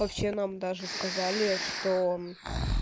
вообще нам даже сказали что